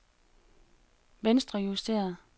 venstrejusteret